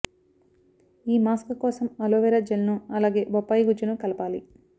ఈ మాస్క్ కోసం aloe vera gel ను అలాగే బొప్పాయి గుజ్జును కలపాలి